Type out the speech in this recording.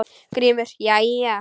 GRÍMUR: Jæja!